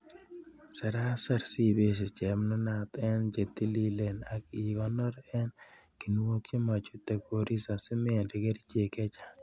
Seraser sibesie chepnunat en chetililen ak ikonor en kinuok chemochute koristo simende kerichek chechang'.